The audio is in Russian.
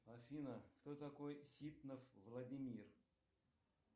афина кто такой ситнов владимир